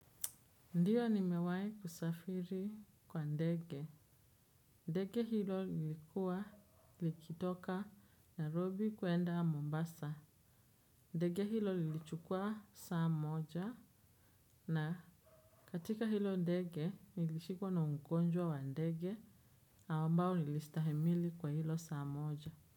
Ndiyo nimewahi kusafiri kwa ndege ndege hilo lilikuwa likitoka narobi kwenda mombasa ndege hilo lilichukua saa moja na katika hilo ndege nilishikwa na ungonjwa wa ndege awambalo lilistahimili kwa hilo saa moja.